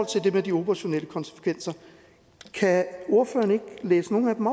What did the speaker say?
til det med de operationelle konsekvenser kan ordføreren ikke læse nogle af dem